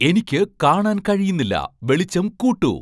എനിക്ക് കാണാൻ കഴിയുന്നില്ല വെളിച്ചം കൂട്ടൂ